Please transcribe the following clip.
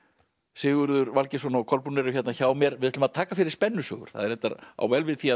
Sigurður Valgeirsson og Kolbrún eru hérna hjá mér við ætlum að taka fyrir spennusögur það reyndar á vel við því